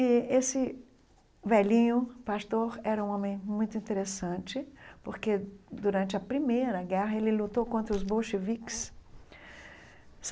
E esse velhinho pastor era um homem muito interessante, porque durante a Primeira Guerra ele lutou contra os bolcheviques.